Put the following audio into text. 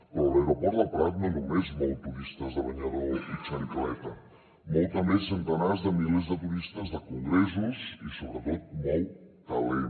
però l’aeroport del prat no només mou turistes de banyador i xancleta mou també centenars de milers de turistes de congressos i sobretot mou talent